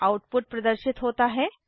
output प्रदर्शित होता है